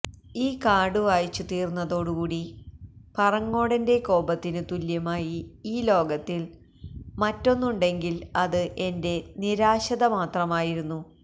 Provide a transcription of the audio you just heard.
ഈ കാർഡു വായിച്ചു തീർന്നതോടുകൂടി പറങ്ങോടന്റെ കോപത്തിനു തുല്യമായി ഈ ലോകത്തിൽ മറ്റൊന്നുണ്ടെങ്കിൽ അത് എന്റെ നിരാശത മാത്രമായിരുന്നു